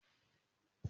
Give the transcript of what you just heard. Lárúbáwá ní mo fẹ́ ma sọ